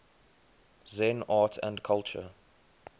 zen art and culture